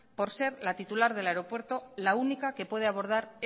por ser la titular del aeropuerto la única que puede abordar